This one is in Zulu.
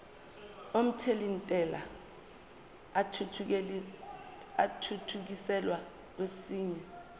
omthelintela athuthukiselwa kwesinye